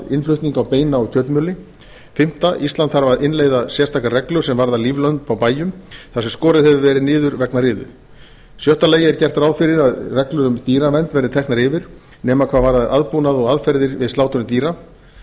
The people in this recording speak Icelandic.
innflutning á beina og kjötmjöli í fimmta lagi ísland þarf að innleiða sérstakar reglur sem varða líflömb á bæjum þar sem skorið hefur verið niður vegna riðu í sjötta lagi er gert ráð fyrir að reglur um dýravernd verði teknar yfir nema hvað varðar aðbúnað og aðferðir við slátrun dýra þá